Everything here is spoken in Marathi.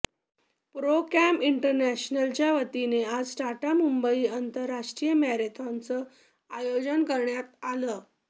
प्रोकॅम इन्टरनॅशनलच्या वतीनं आज टाटा मुंबई आंतरराष्ट्रीय मॅरेथॉनचं आयोजन करण्यात आलं